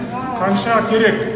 қанша керек